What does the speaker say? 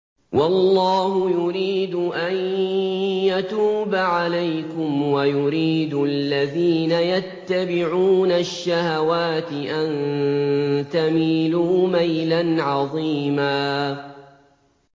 وَاللَّهُ يُرِيدُ أَن يَتُوبَ عَلَيْكُمْ وَيُرِيدُ الَّذِينَ يَتَّبِعُونَ الشَّهَوَاتِ أَن تَمِيلُوا مَيْلًا عَظِيمًا